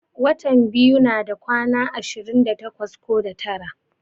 Watan biyu nada kwana ashirin da takwas ko da tara.